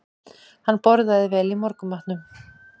Hann borðaði vel í morgunmatnum